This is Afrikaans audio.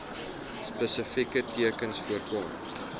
spesifieke tekens voorkom